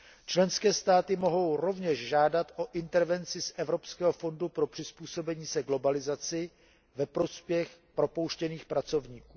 Členské státy mohou rovněž požádat o intervenci z Evropského fondu pro přizpůsobení se globalizaci ve prospěch propouštěných pracovníků.